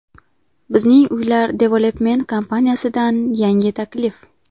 Bizning Uylar Development kompaniyasidan yangi taklif!